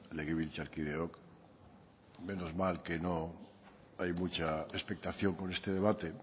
legebiltzarkideok menos mal que no hay mucha expectación con este debate